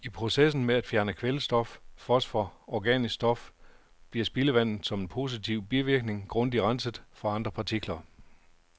I processen med at fjerne kvælstof, fosfor og organisk stof bliver spildevandet som en positiv bivirkning grundigt renset for andre partikler.